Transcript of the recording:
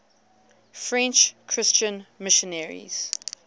french christian missionaries